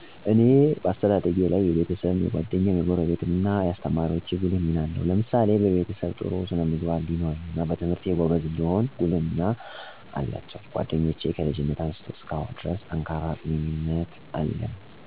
እኔ በአስተዳደጊ ላይ የቤሰብም፣ የጓደኛም፣ የጎረቤትም እናየአሰተማሪወቸ ጉልህ ሚና አለው። ለምሳሌ በቤሰብ ጥሩ ስነ-ምግባር እንዲኖረኝና በትምህርቴ ጎበዝ እንድሆን ጉልህ ሚና አላቸው። ጓደኞቸ ከልጅነት አንስቶ እስካሁን ድረስ ጠንካራ ግንኙነት አለን። አብረን ከመጫወች አልፎ ትልልቅ ችግሮች በይይት እና በመነጋገር መልካም ግንኙነት አለኝ። ጎረቤትም ቢሆን እንደልቻቸው በማየት አሳድገውኛል አሁንም ድረስ ይወዱኛል እወዳቸዋለሁ። በአጠቃላይ ሁሉም ለአሰተደደጊ የራሱ አሰተዋፅኦ አላቸው።